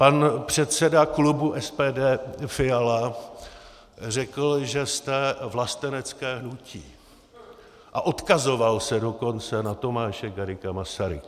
Pan předseda klubu SPD Fiala řekl, že jste vlastenecké hnutí, a odkazoval se dokonce na Tomáše Garrigua Masaryka.